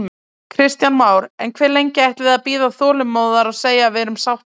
Kristján Már: En hve lengi ætlið þið að bíða þolinmóðar og segja við erum sáttar?